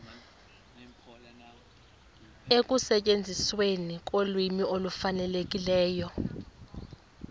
ekusetyenzisweni kolwimi olufanelekileyo